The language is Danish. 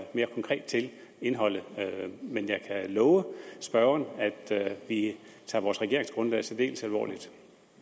mere konkret til indholdet men jeg kan love spørgeren at vi tager vores regeringsgrundlag særdeles alvorligt